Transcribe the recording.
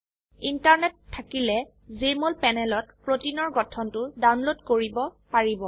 internet থাকিলে Jmol প্যানেলত প্ৰোটিনৰ গঠনটো ডাউনলোড কৰিব পাৰিব